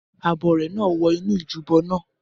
Abọrẹ̀ náà wọ inú ojúbọ naa